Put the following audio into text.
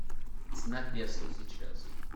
цена песо сейчас